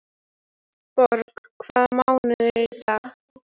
Borg, hvaða mánaðardagur er í dag?